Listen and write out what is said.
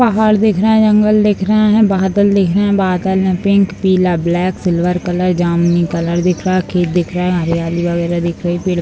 पहाड़ दिख रहा है जंगल दिख रहा है बादल दिख रहा है बादल में पिंक पीला ब्लैक सिल्वर कलर जामुनी कलर दिख रहा है खेत दिख रहा हरियाली वगैरा दिख रही पेड़ --